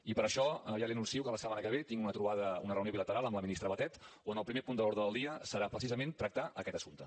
i per això ja li anuncio que la setmana que ve tinc una trobada una reunió bilateral amb la ministra batet on el primer punt de l’ordre del dia serà precisament tractar aquest assumpte